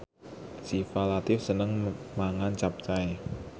Syifa Latief seneng mangan capcay